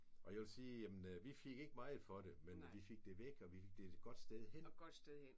Og jeg vil sige jamen vi fik ikke meget for det men vi fik det væk og vi fik det et godt sted hen